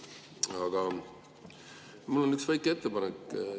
Aga mul on üks väike ettepanek.